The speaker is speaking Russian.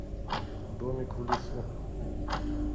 домик в лесу